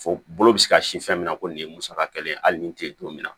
Fo bolo bɛ se ka si fɛn min na ko nin ye musaka kɛlen ye hali nin te yen don min na